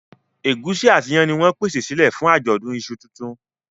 Egusi àti iyán ní wón pèsè silẹ fún ajọdun iṣu títún.